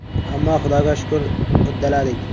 Ammo Xudoga shukur, uddaladik.